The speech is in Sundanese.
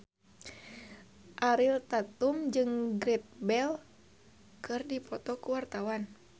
Ariel Tatum jeung Gareth Bale keur dipoto ku wartawan